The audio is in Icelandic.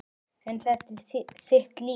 En þetta er þitt líf.